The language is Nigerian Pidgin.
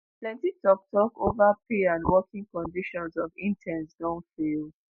plenti tok-tok ova pay and working conditions of interns don fail.